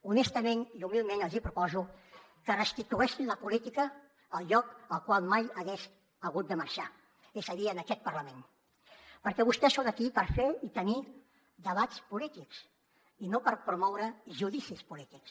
honestament i humilment els hi proposo que restitueixin la política al lloc del qual mai hagués hagut de marxar és a dir a aquest parlament perquè vostès són aquí per fer i tenir debats polítics i no per promoure judicis polítics